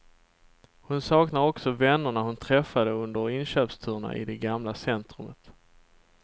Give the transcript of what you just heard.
Hon saknar också vännerna hon träffade under inköpsturerna i det gamla centrumet.